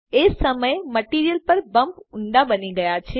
એ જ સમયે મટીરીઅલ પર બમ્પ ઊંડા બની ગયા છે